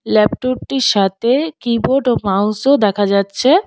ল্যাপটুরটির -টির সাথে কিবোর্ড ও মাউস -ও দেখা যাচ্ছে।